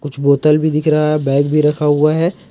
कुछ बोतल भी दिख रहा है बैग भी रखा हुआ है।